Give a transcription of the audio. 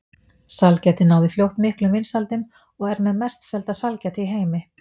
Sælgætið náði fljótt miklum vinsældum og er með mest selda sælgæti í heimi.